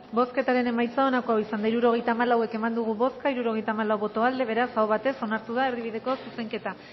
bozketaren emaitza onako izan da hirurogeita hamalau eman dugu bozka hirurogeita hamalau boto aldekoa beraz aho batez onartu da erdibideko zuzenketa